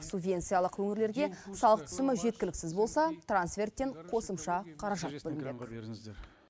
субвенциялық өңірлерге салық түсімі жеткіліксіз болса трансферттен қосымша қаражат бөлінбек